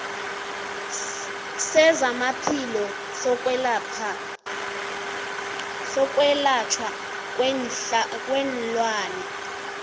sezamaphilo sokwelatjhwa kweenlwana